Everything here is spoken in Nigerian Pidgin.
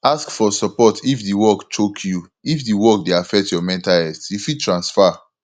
ask for support if di work choke you if di work dey affect your mental health you fit transfer